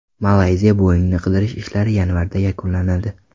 Malayziya Boeing‘ini qidirish ishlari yanvarda yakunlanadi.